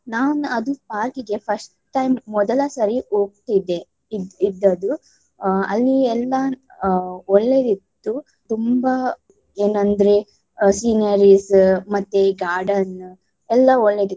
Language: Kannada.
ನಾವು ನ್~ ಅದು park ಗೆ first time ಮೊದಲ ಸರಿ ಹೋಗ್ತಿದ್ದೆ ಇದ್~ ಇದ್ದದ್ದು ಆಹ್ ಅಲ್ಲಿ ಎಲ್ಲ ಆಹ್ ಒಳ್ಳೆದ್ದಿತ್ತು ತುಂಬಾ ಏನಂದ್ರೆ sceneries ಮತ್ತೆ garden ಎಲ್ಲಾ ಒಳ್ಳೆದ್ದಿತ್ತು.